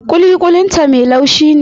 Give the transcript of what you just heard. Kuli-kulin ta mai laushin ne.